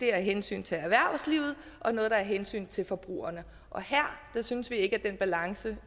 er af hensyn til erhvervslivet og noget af hensyn til forbrugerne og her synes vi ikke at den balance